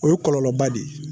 O ye kɔlɔlɔba de ye